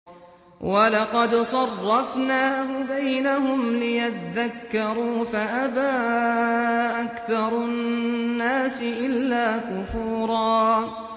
وَلَقَدْ صَرَّفْنَاهُ بَيْنَهُمْ لِيَذَّكَّرُوا فَأَبَىٰ أَكْثَرُ النَّاسِ إِلَّا كُفُورًا